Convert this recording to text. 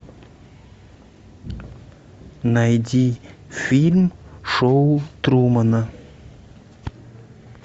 найди фильм шоу трумана